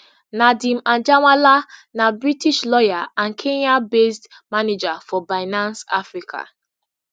nadeem anjarwalla na british lawyer and kenyabased manager for binance africa